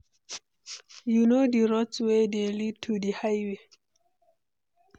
you know di route wey dey lead to di highway?